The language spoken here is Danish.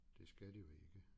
Det skal de jo ikke